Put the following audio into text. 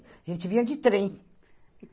A gente vinha de trem.